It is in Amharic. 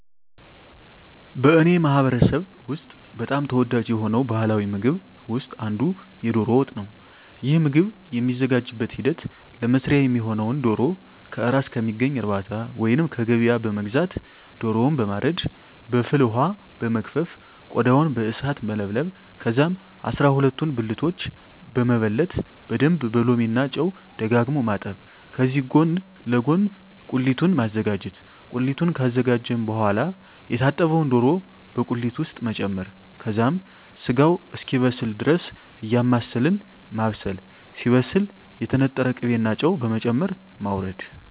በእኔ ማህበረሰብ ውስጥ በጣም ተወዳጅ የሆነው ባሀላዊ ምግብ ውስጥ አንዱ የዶሮ ወጥ ነው። ይህ ምግብ የሚዘጋጅበት ሂደት ለመስሪያ የሚሆነውነ ዶሮ ከእራስ ከሚገኝ እርባታ ወይንም ከገበያ በመግዛት ዶሮውን በማረድ በፍል ወሀ በመግፈፍ ቆዳውን በእሳት መለብለብ ከዛም አስራሁለቱን ብልቶች በመበለት በደንብ በሎሚ እና ጨው ደጋግሞ ማጠብ ከዚህ ጎን ለጎን ቁሊቱን ማዘጋጀት ቁሊቱን ካዘጋጀን በሆዋላ የታጠበውን ዶሮ በቁሊት ውስጥ መጨመር ከዛም ስጋው እስኪበስል ድረስ እያማሰልን ማብሰል ሲበስል የተነጠረ ቅቤ እና ጨው በመጨመር ማወረድ።